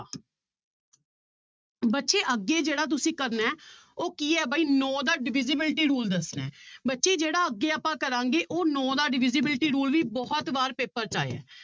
ਬੱਚੇ ਅੱਗੇ ਜਿਹੜਾ ਤੁਸੀਂ ਕਰਨਾ ਹੈ ਉਹ ਕੀ ਹੈ ਬਾਈ ਨੋਂ ਦਾ divisibility rule ਦੱਸਣਾ ਹੈ ਬੱਚੇ ਜਿਹੜਾ ਅੱਗੇ ਆਪਾਂ ਕਰਾਂਗੇ ਉਹ ਨੋਂ ਦਾ divisibility rule ਵੀ ਬਹੁਤ ਵਾਰ ਪੇਪਰ 'ਚ ਆਇਆ ਹੈ